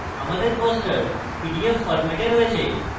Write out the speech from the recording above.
আমাদের poster PDF ফরম্যাটে রয়েছে